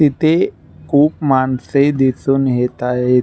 इथे खूप माणसे दिसुन येत आहे.